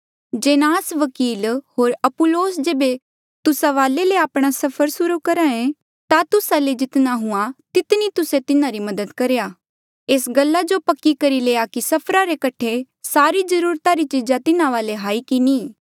जेनास वकील होर अपुल्लोस जेबे तुस्सा वाले ले आपणा सफर सुर्हू करहे ता तुस्सा ले जितना हुआ तितनी तुस्से तिन्हारी मदद करेया एस गल्ला जो पक्का करी लेया कि सफरा रे कठे सारी जरूरता री चीजा तिन्हा वाले हाई की नी